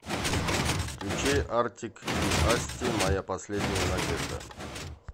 включи артик и асти моя последняя надежда